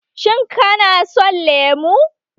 Shin kana son lemu?